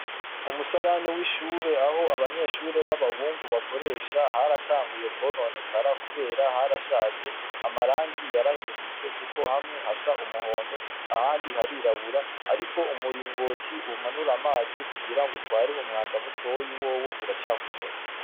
Umusarani w'ishure aho abanyeshure b'abahungu bakoresha haratanguye kwononekara kubera harashaje. Amarangi yarahindutse kuko hamwe hasa n'umuhondo ahandi harirabura ariko umuringoti umanura amazi kugira ngo utware umwanda mutoyi wowo uracakomeye.